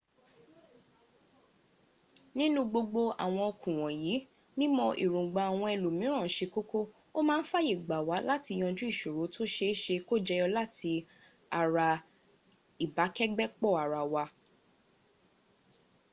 nínú gbogbo àwọn okun wọ̀nyí mímọ èròngbà àwọn ẹlòmíràn ṣe kókó. o maa ń fàyè gbà wá láti yanjú ìṣòro tó séeṣée kó jẹyọ láti ara ìbàkégbépọ ara wa